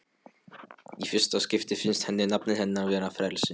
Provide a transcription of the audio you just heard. Í fyrsta skipti finnst henni nafnið hennar veita frelsi.